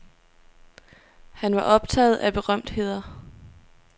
Han var optaget af berømtheder.